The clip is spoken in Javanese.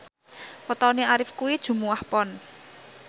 wetone Arif kuwi Jumuwah Pon